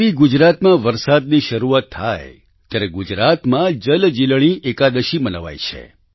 જેવી ગુજરાતમાં વરસાદની શરૂઆત થાય ત્યારે ગુજરાતમાં જલજીલણી એકાદશી મનાવાય છે